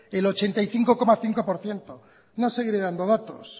el ochenta y ocho coma cinco por ciento no seguiré dando datos